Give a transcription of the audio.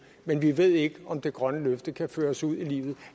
men vi ved ikke om det grønne løfte kan føres ud i livet